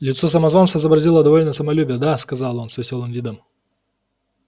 лицо самозванца изобразило довольное самолюбие да сказал он с весёлым видом